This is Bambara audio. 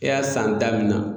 E y'a san damina.